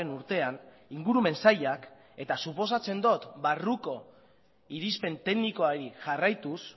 urtean ingurumen sailak eta suposatzen dut barruko irizpen teknikoari jarraituz